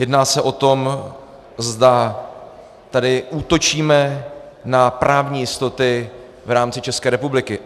Jedná se o tom, zda tady útočíme na právní jistoty v rámci České republiky.